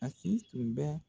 Masini tun bɛɛ